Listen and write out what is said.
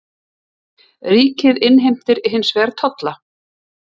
Ríkið innheimtir hins vegar tolla.